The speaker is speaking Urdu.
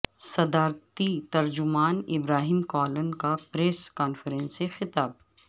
صدارتی ترجمان ابراہیم کالن کا پریس کانفرنس سے خطاب